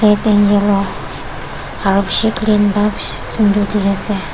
aru bishi clean para bishi sundor dikhi ase.